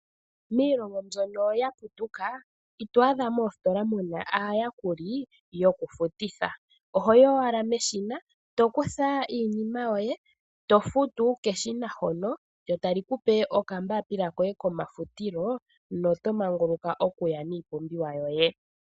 Miilongo mbyono ya putuka ito adha moositola muna aayakuli yokufutitha. Oho yi owala meshina to kutha iinima yoye to futu keshina hono lyo tali ku pe okambaapila koye komafutilo no to manguluka okuya niipumbiwa yoye.